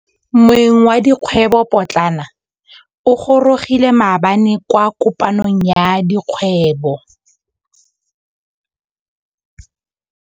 Moêng wa dikgwêbô pôtlana o gorogile maabane kwa kopanong ya dikgwêbô.